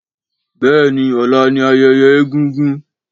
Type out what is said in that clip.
Béèni ọ̀la ni ayẹyẹ egúngún